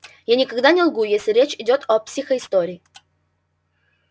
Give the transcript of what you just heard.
я никогда не лгу если речь идёт о психоистории